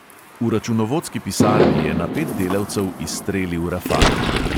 V računovodski pisarni je na pet delavcev izstrelil rafal.